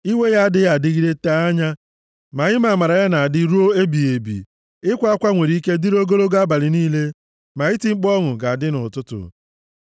Iwe ya adịghị adịgide tee anya, ma ime amara ya na-adị ruo ebighị ebi! Ịkwa akwa nwere ike dịrị ogologo abalị niile, ma iti mkpu ọṅụ ga-adị nʼụtụtụ.